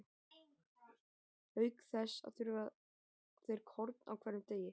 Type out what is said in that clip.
Auk þess þurfa þeir korn á hverjum degi.